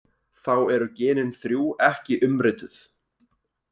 Þá eru genin þrjú ekki umrituð.